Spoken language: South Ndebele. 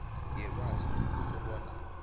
yelwazi kufuze bona